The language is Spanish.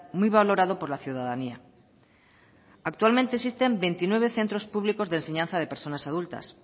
muy valorado por la ciudadanía actualmente existen veintinueve centros públicos de enseñanza de personas adultas